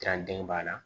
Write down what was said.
den b'a la